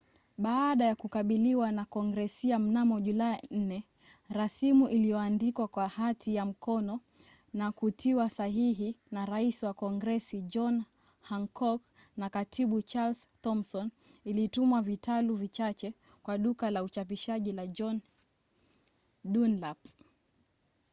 baada ya kukubaliwa na kongresi mnamo julai 4 rasimu iliyoandikwa kwa hati ya mkono na kutiwa sahihi na rais wa kongresi john hancock na katibu charles thomson ilitumwa vitalu vichache kwa duka la uchapishaji la john dunlap